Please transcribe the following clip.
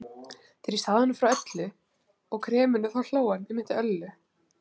Þegar ég sagði honum frá Öllu og kreminu þá hló hann.